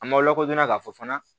An ma lakodɔn k'a fɔ fana